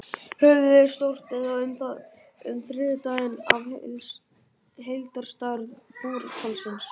Höfuðið er stórt, eða um þriðjungur af heildarstærð búrhvalsins.